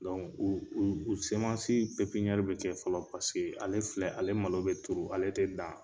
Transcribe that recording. u u bi kɛ fɔlɔ paseke ale filɛ ale malo be turu ale te dan